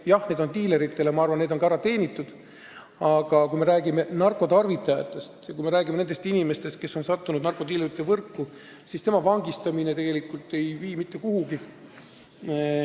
Jah, need on diileritele ja ma arvan, et need on ka ära teenitud, aga kui me räägime narkotarvitajatest, kui me räägime nendest inimestest, kes on sattunud narkodiilerite võrku, siis nende vangistamine ei vii mitte kuhugi.